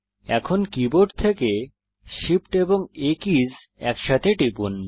এখন কীবোর্ড থেকে SHIFT and A keys একসাথে টিপুন